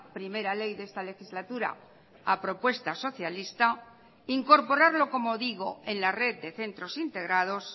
primera ley de esta legislatura a propuesta socialista incorporarlo como digo en la red de centros integrados